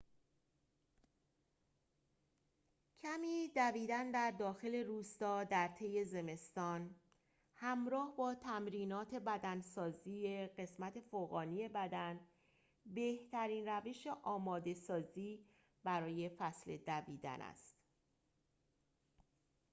کمی دویدن در داخل روستا درطی زمستان همراه با تمرینات بدنسازی قسمت فوقانی بدن بهترین روش آماده سازی برای فصل دویدن است